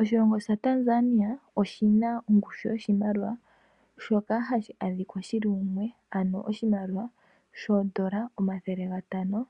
Oshilongo sha Tanzania oshina ongushu yoshimaliwa shoka ashi adhika shili mumwe , ano oondola omathele ga tano .